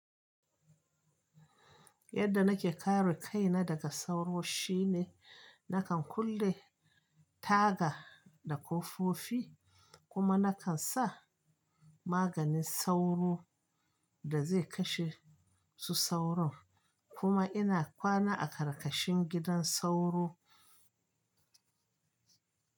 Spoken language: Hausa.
Yadda nake kare kaina daga sauro shine nakan kulle taga da kofofi, kuma nakan sa maganin sauro da zai kashe su sauron. Kuma ina kwana a ƙarƙashin gidan sauro.